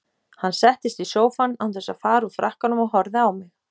Hann settist í sófann án þess að fara úr frakkanum og horfði á mig.